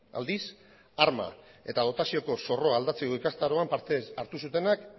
aldiz arma eta dotazioko zorroa aldatzeko ikastaroan parte hartu zutenak